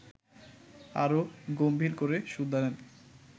আরো গম্ভীর করে শুধালেন